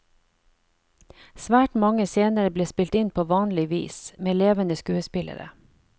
Svært mange scener ble spilt inn på vanlig vis, med levende skuespillere.